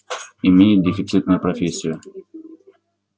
имеет дефицитную профессию